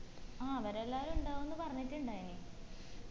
ആ അവെരെല്ലാരും ഇണ്ടാവുന്നു പറഞ്ഞിട്ടുണ്ടായിന്